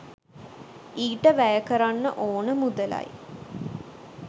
ඊට වැය කරන්න ඕන මුදලයි